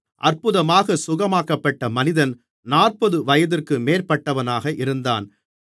அற்புதமாகச் சுகமாக்கப்பட்ட மனிதன் நாற்பது வயதுக்கு மேற்பட்டவனாக இருந்தான்